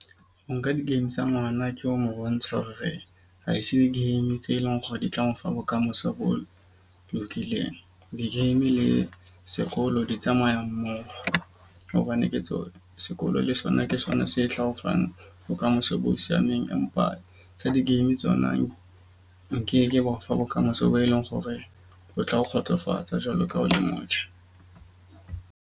Ho nka di-game tsa ngwana ke ho mo bontsha hore ha se di-game tse leng hore di tla mo fa bokamoso bo lokileng. Di-game le sekolo di tsamaya mmoho. Hobane ke tsona sekolo le sona ke sona se tla o fang bokamoso bo siameng. Empa tsa di-game tsona nkeke ba o fa bokamoso bo e leng hore ho tla o kgotsofatsa jwalo ka ha o le motjha.